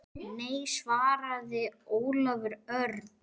Nei svaraði Ólafur Örn.